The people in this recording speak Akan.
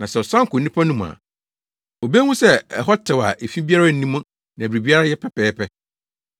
Na sɛ ɔsan kɔ onipa no mu a, obehu sɛ ɛhɔ tew a efi biara nni mu na biribiara yɛ pɛpɛɛpɛ.